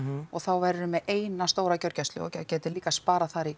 og þá værirðu með eina stóra gjörgæslu og gætir líka sparað þar í